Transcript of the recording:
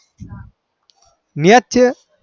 match છે